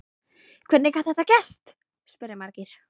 Hvernig gat þetta gerst? spyrja margir.